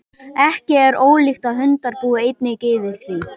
ekki er ólíklegt að hundar búi einnig yfir því